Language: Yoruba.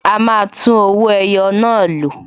A máa tún owó ẹyọ náà lò